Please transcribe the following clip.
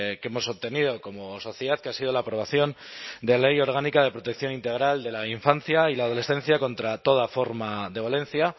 que hemos obtenido como sociedad que ha sido la aprobación de la ley orgánica de protección integral de la infancia y la adolescencia contra toda forma de violencia